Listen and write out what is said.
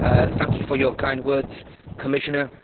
Thank you for your kind words, Commissioner.